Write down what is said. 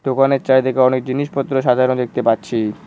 দোকানের চারদিকে অনেক জিনিসপত্র সাজানো দেখতে পাচ্ছি।